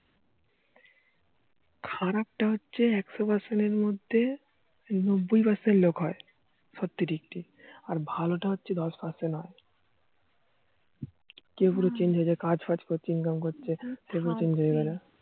খারাপ তা হচ্ছে একশো Percent এর মধ্যে নব্বই Percent লোক হয় সত্যি টিক টিক আর ভালো তা হচ্ছে দশ Percent হয়, গিয়ে পুরো Change হয় কাজ পাজ করছে ইনকাম করছে খারাপ তা হচ্ছে